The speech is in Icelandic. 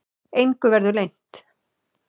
Engu verði leynt.